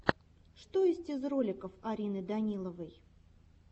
что есть из роликов арины даниловой